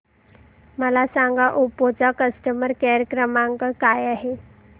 मला सांगा ओप्पो चा कस्टमर केअर क्रमांक काय आहे